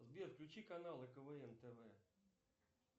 сбер включи каналы квн тв